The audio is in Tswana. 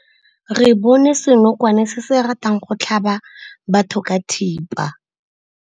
Re bone senokwane se se ratang go tlhaba batho ka thipa.